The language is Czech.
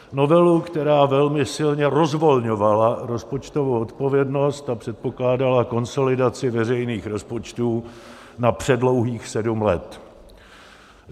Novelu, která velmi silně rozvolňovala rozpočtovou odpovědnost a předpokládala konsolidaci veřejných rozpočtů na předlouhých sedm let.